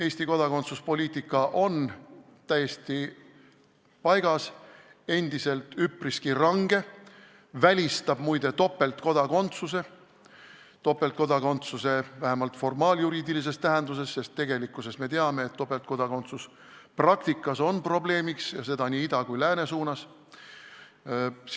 Eesti kodakondsuspoliitika on täiesti paigas, endiselt üpriski range ja välistab, muide, topeltkodakondsuse – seda vähemalt formaaljuriidiliselt, sest tegelikult me teame, et praktikas on topeltkodakondsus probleemiks, ja seda nii ida kui ka lääne suunda silmas pidades.